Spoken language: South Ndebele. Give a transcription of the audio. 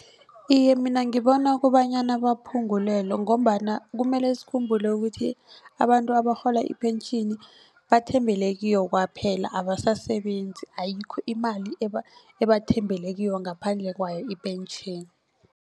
Iye mina ngibona kobanyana baphungulelwe ngombana kumele sikhumbule ukuthi abantu abarhola ipentjhini bathembele kiyo kwaphela abasasebenzi ayikho imali ebathembele kiyo ngaphandle kwayo ipentjheni.